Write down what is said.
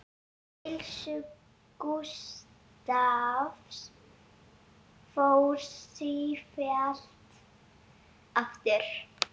Heilsu Gústavs fór sífellt aftur.